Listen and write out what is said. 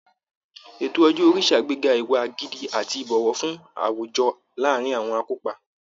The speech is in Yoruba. Ètò ọjọ́ orí ṣàgbéga ìwà gidi àti ìbọ̀wọ̀ fún àwùjọ láàárín àwọn akópa